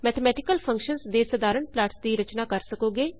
mathematical functions ਦੇ ਸਾਧਾਰਣ plots ਦੀ ਰਚਨਾ ਕਰ ਸਕੋਗੇ